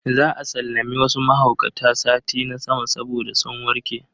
Za a sallami wasu mahaukata sati na sama saboda sun warke.